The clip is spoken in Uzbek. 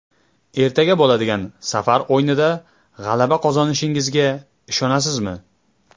Ertaga bo‘ladigan safar o‘yinida g‘alaba qozonishingizga ishonasizmi?